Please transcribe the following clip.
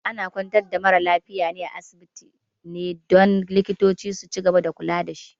Ana kwantar da mara lafiya a asibiti ne don likitoci su cigaba da kula dashi